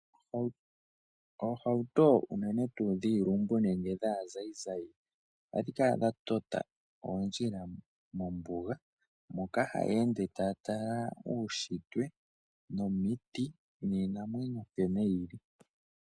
Oohauto unene tuu dhiilumbu nenge dhaazayizayi ohadhi kala tota oondjila mombuga moka haya ende taya tala uunshitwe, omiti niinamwenyo nkene yili.